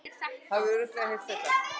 Hafði örugglega heyrt þetta allt.